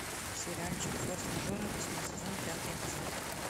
сериальчик форс мажоры восьмой сезон пятый эпизод